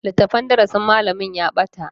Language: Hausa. Littafin darasin malamin ya bata.